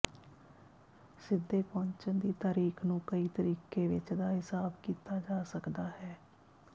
ਸਿੱਧੇ ਪਹੁੰਚਣ ਦੀ ਤਾਰੀਖ਼ ਨੂੰ ਕਈ ਤਰੀਕੇ ਵਿੱਚ ਦਾ ਹਿਸਾਬ ਕੀਤਾ ਜਾ ਸਕਦਾ ਹੈ